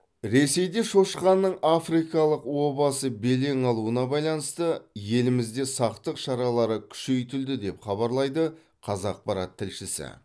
ресейде шошқаның африкалық обасы белең алуына байланысты елімізде сақтық шаралары күшейтілді деп хабарлайды қазақпарат тілшісі